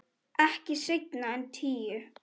Ekki seinna en tíu.